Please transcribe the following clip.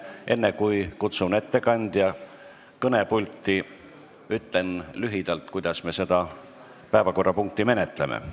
Enne kui kutsun ettekandja kõnepulti, ütlen lühidalt, kuidas me seda päevakorrapunkti menetleme.